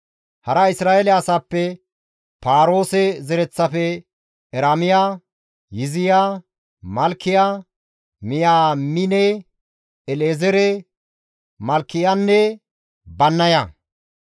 Hara Isra7eele asaappe, Paaroose zereththafe, Eramiya, Yiziya, Malkiya, Miyaamine, El7ezeere, Malkiyanne Bannaya;